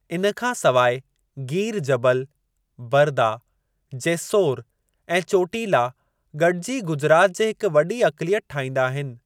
इन खां सवाइ गीर जबल, बर्दा, जेस्सोर ऐं चोटीला गॾिजी गुजरात जे हिक वॾी अक़लियत ठाहींदा आहिनि।